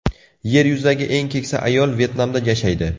Yer yuzidagi eng keksa ayol Vyetnamda yashaydi.